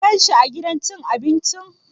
Ka gan shi a gidan cin abincin?